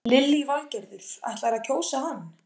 Lillý Valgerður: Ætlarðu að kjósa hann?